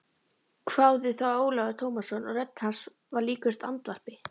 hváði þá Ólafur Tómasson og rödd hans var líkust andvarpi.